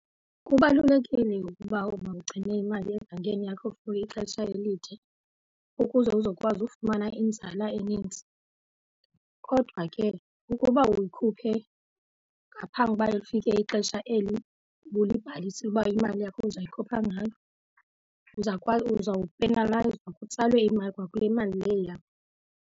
Kubalulekile ukuba mawugcine imali ebhankeni yakho for ixesha elide ukuze uzokwazi ufumana inzala enintsi. Kodwa ke ukuba uyikhuphe ngaphambi uba lifike ixesha eli ubulibhalise uba imali yakho uzayikhupha ngalo, uzawupenalayizwa kutsalwe imali kwakule mali leyo yakho.